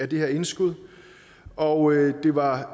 det her indskud og det var